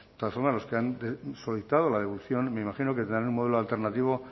de todas formas los que han solicitado la devolución me imagino que tendrán un modelo alternativo